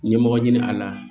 Ɲɛmɔgɔ ɲini a la